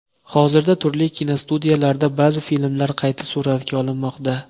Hozirda turli kinostudiyalarda ba’zi filmlar qayta suratga olinmoqda.